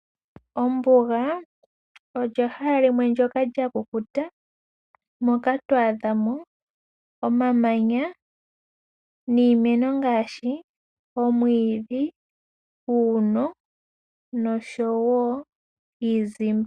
Ombuga olyo ehala limwe ndyoka lya kukuta moka twa adha mo omamanya niimeno ngaashi omwiidhi, uuno nosho wo iizimba.